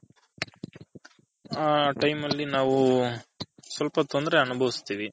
ಆ Time ಅಲ್ಲಿ ನಾವು ಸ್ವಲ್ಪ ತೊಂದರೆ ಅನುಬವಸ್ತಿರಿ.